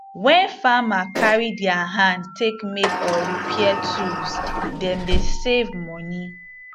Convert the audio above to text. wen farmer carry diir hand take make or repair tools dem dey save moni